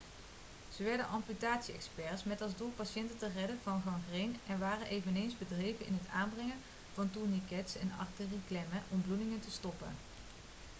ze werden amputatie-experts met als doel patiënten te redden van gangreen en waren eveneens bedreven in het aanbrengen van tourniquets en arterieklemmen om bloedingen te stoppen